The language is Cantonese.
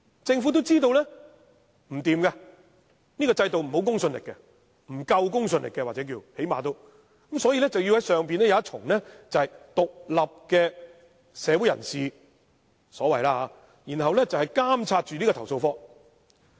政府也知道這樣不行，這個制度沒有公信力，又或是公信力不足，因此要在其上設立一個由所謂獨立社會人士組成的機構，以監察投訴警察課。